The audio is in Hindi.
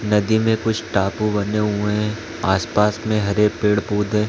नदी में कुछ टापू बने हुए है आसपास में हरे पेड़ -पौधे--